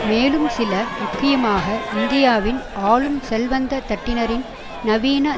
மேலும் சில முக்கியமாக இந்தியாவின் ஆளும் செல்வந்த தட்டினரின் நவீன